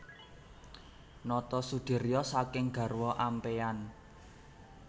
Notosudiryo saking garwa ampéyan